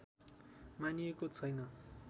मानिएको छैन